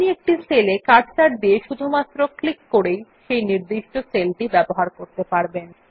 আপনি একটি সেল এ কার্সার দিয়ে শুধুমাত্র ক্লিক করেই সেই নির্দিষ্ট সেলটি ব্যবহার করতে পারবেন